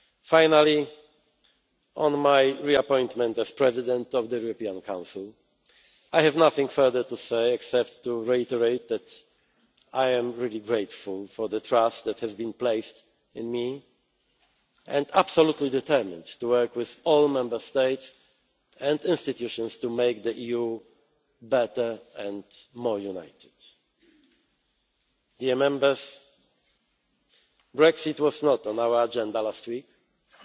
Finally, on my re appointment as President of the European Council, I have nothing further to say except to reiterate that I am really grateful for the trust that has been placed in me and absolutely determined to work with all Member States and institutions to make the EU better and more united. Dear Members, Brexit was not on our agenda